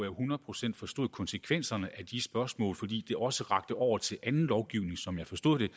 hundrede procent forstod konsekvenserne af de spørgsmål fordi de også rakte over til anden lovgivning som jeg forstod det